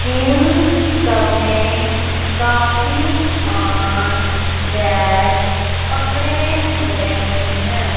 इन सब ने काफी स्मान बैग पकड़े हुए हैं।